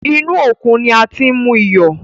Inú òkun ni a ti ń mú iyọ̀.